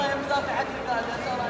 Allah bərəkət versin.